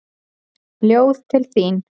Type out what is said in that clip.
Ljóð til þín.